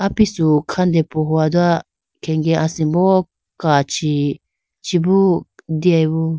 Apisu khandepohowa do khege asimbo kachi chibo deyayibo.